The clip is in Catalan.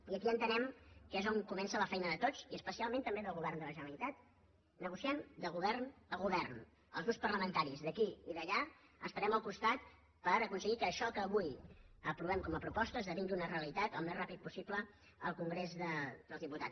i aquí entenem que és on comença la feina de tots i especialment també del govern de la generalitat negociant de govern a govern els grups parlamentaris d’aquí i d’allà estarem al costat per aconseguir que això que avui aprovem com a proposta esdevingui una realitat al més ràpidament possible al congrés dels diputats